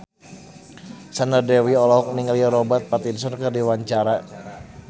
Sandra Dewi olohok ningali Robert Pattinson keur diwawancara